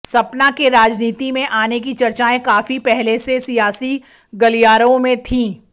सपना के राजनीति में आने की चर्चाएं काफी पहले से सियासी गलियारों में थी